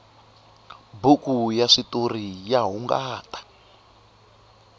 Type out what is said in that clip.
buku ya switoriya hungata